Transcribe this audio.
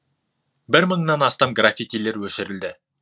бір мыңнан астам графитилер өшірілді